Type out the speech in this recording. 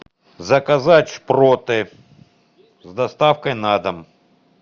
заказать шпроты с доставкой на дом